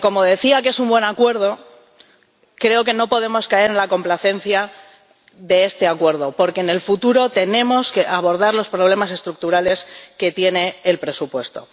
Aunque ―como decía― es un buen acuerdo, creo que no podemos caer en la complacencia, porque en el futuro tenemos que abordar los problemas estructurales que tiene el presupuesto.